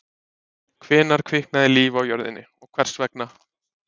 Hvenær kviknaði líf á jörðinni og hvers vegna?